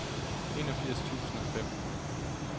enogfirs tusind og fem